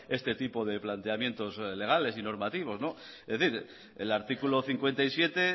este tipo de planteamientos legales y normativos es decir el artículo cincuenta y siete